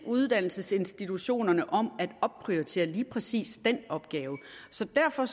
uddannelsesinstitutionerne om at opprioritere lige præcis den opgave så derfor